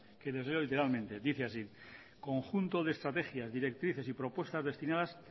que les leo literalmente dice así conjunto de estrategias directrices y propuestas destinadas